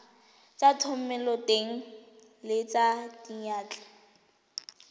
tsa thomeloteng le tsa diyantle